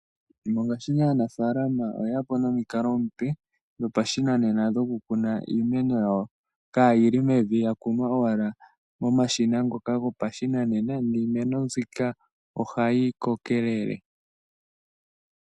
Mongaashingeyi aanafaalama oye ya po nomikalo omupe dhopashinanena dhoku kuna iimeno yawo, kaayili mevi yakunwa owala momashina ngoka gopashinanena, niimeno zika ohayi kokelele.